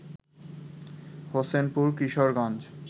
Hossainpur Kishoreganj